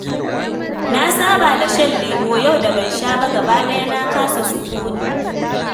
Na saba da shan lemo, yau da ban sha ba gabaɗaya na kasa sukuni